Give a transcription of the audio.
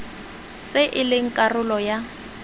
tse e leng karolo ya